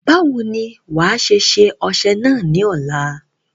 Báwo ni wàá ṣe ṣe ọṣẹ náà ní ọ̀la?